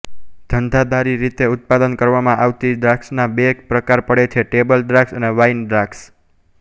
ધંધાદારી રીતે ઉત્પાદન કરવામાં આવતી દ્રાક્ષના બે પ્રકાર પડે છે ટેબલ દ્રાક્ષ અને વાઇન દ્રાક્ષ